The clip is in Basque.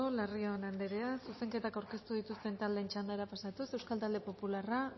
larrion anderea zuzenketak aurkeztu dituzten taldeen txandara pasatuz euskal talde popularra